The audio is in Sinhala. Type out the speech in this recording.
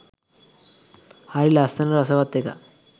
හරි ලස්සන රසවත් එකක්.